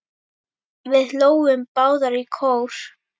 Við hlógum báðar í kór.